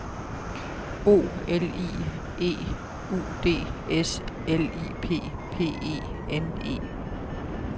O L I E U D S L I P P E N E